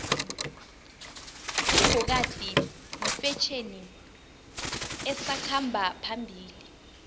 ibhokadi yifetjheni esakhamba phambili